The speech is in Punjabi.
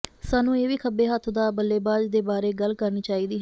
ਸਾਨੂੰ ਇਹ ਵੀ ਖੱਬੇ ਹੱਥ ਦਾ ਬੱਲੇਬਾਜ਼ ਦੇ ਬਾਰੇ ਗੱਲ ਕਰਨੀ ਚਾਹੀਦੀ ਹੈ